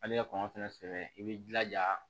Hali i ka kɔn i b'i jilaja